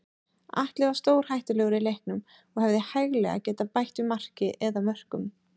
Atli var stórhættulegur í leiknum og hefði hæglega getað bætt við marki eða mörkum.